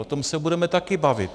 O tom se budeme taky bavit.